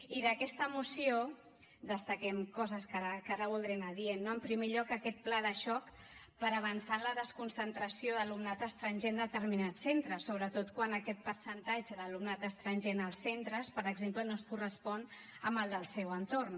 i d’aquesta moció destaquem coses que ara voldré anar dient no en primer lloc aquest pla de xoc per avançar en la desconcentració d’alumnat estranger en determinats centres sobretot quan aquest percentatge d’alumnat estranger en els centres per exemple no es correspon amb el del seu entorn